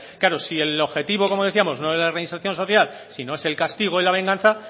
claro si el objetivo como decíamos no es la reinserción social sino es el castigo y la venganza